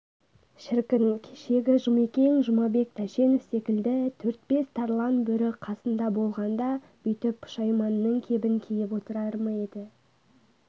шіркін кешегі жұмекең жұмабек тәшенов секілді төрт-бес тарлан бөрі қасында болғанда бүйтіп пұшайманның кебін киіп отырар ма еді